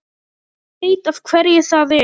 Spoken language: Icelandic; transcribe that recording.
Hann veit af hverju það er.